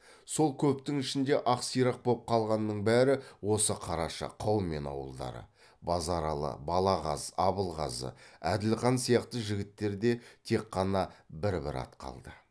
сол көптің ішінде ақ сирақ боп қалғанның бәрі осы қараша қаумен ауылдары базаралы балағаз абылғазы әділхан сияқты жігіттерде тек қана бір бір ат қалды